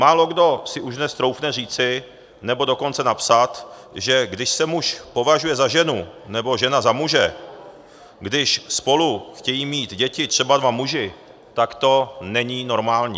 Málokdo si už dnes troufne říci, nebo dokonce napsat, že když se muž považuje za ženu nebo žena za muže, když spolu chtějí mít děti třeba dva muži, tak to není normální.